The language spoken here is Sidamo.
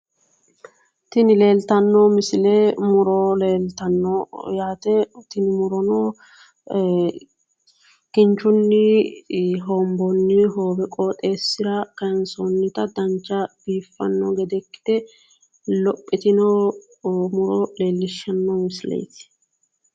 Tini leeltanno misile muro leeltanno yaate tini murono kinchunni hoobbonni hoowe qooxxeessira kaayinsoonnita dancha biiffanno gede ikkite lophitino muro leellishshanno misileeti.